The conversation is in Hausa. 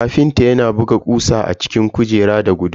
Ƙafintan yana buga kusa a cikin kujerar da guduma.